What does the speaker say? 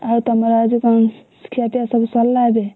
ଆଉ ତମର ଆଉ ଯୋଉ କଣ ଖିଆପିଆ ସବୁ ସରିଲା ଏବେ?